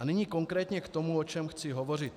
A nyní konkrétně k tomu, o čem chci hovořit.